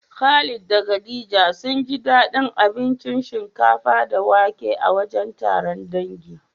Khalid da khadija sunji daɗin abinci shinkafa da wake a wajen taron dangi.